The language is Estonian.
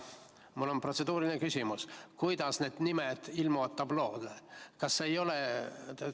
Mul on protseduuriline küsimus: kuidas need nimed tabloole ilmuvad?